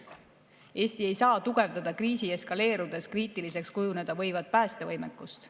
Eesti ei saa tugevdada kriisi eskaleerudes kriitiliseks kujuneda võivat päästevõimekust.